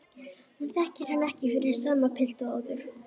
Hún þekkir hann ekki fyrir sama pilt og áður.